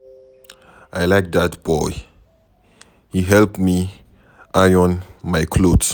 I like dat boy. He help me iron my cloth.